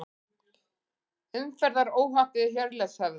Umferðaróhapp við Hjörleifshöfða